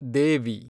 ದೇವಿ